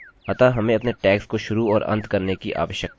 यह एक html form होगा अतः हमें अपने टैग्स को शुरू और अंत करने की आवश्यकता है